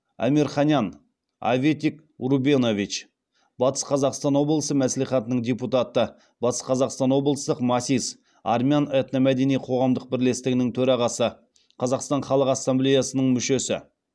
амирханян аветик рубенович батыс қазақстан облысы мәслихатының депутаты батыс қазақстан облыстық масис армян этномәдени қоғамдық бірлестігінің төрағасы қазастан халық ассамблеясының мүшесі